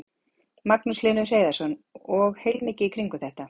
Magnús Hlynur Hreiðarsson: Og heilmikið í kringum þetta?